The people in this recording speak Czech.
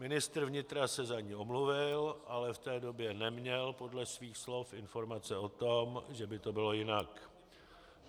Ministr vnitra se za ni omluvil, ale v té době neměl podle svých slov informace o tom, že by to bylo jinak.